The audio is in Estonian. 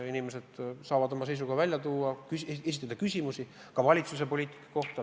Inimesed saavad oma seisukohad välja öelda, esitada küsimusi ka valitsuse poliitika kohta.